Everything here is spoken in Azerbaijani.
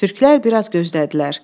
Türklər biraz gözlədilər.